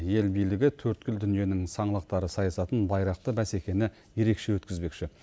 ел билігі төрткүл дүниенің саңлақтары сайысатын байрақты бәсекені ерекше өткізбекші